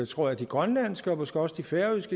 tror jeg grønlandsk og måske også færøsk